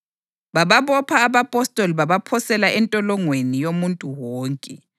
Bababopha abapostoli babaphosela entolongweni yomuntu wonke.